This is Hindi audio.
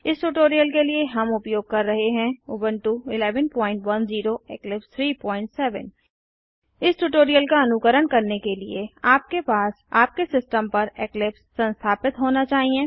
इस ट्यूटोरियल के लिए हम उपयोग कर रहे हैं उबंटू 1110 इक्लिप्स 37 इस ट्यूटोरियल का अनुकरण करने के लिए आपके पास आपके सिस्टम पर इक्लिप्स संस्थापित होना चाहिए